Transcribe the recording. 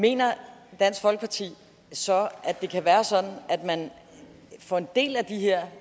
mener dansk folkeparti så at det kan være sådan at man får en del af de her